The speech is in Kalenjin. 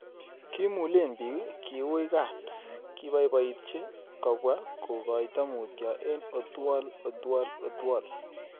Kimulebiich, kiuui kat, kibaibaitchi': kobwaa kogoito mutyo eng' Othuol othuol othuol